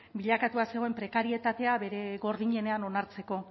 bilakatua zegoen prekarietatea bere gordinenean onartzeko